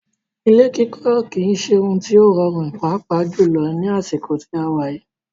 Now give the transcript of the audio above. Ilé kikọ́ kìí ṣe òhún tí o rọrùn pàápà jùlọ ní àsìkò tí a wà yìí.